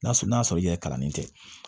N'a sɔrɔ n'a sɔrɔ i yɛrɛ kalannen tɛ